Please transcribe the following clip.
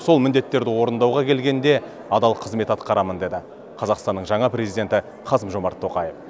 сол міндеттерді орындауға келгенде адал қызмет атқарамын деді қазақстанның жаңа президенті қасым жомарт тоқаев